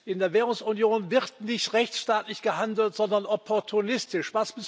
In der Währungsunion wird nicht rechtsstaatlich gehandelt, sondern opportunistisch.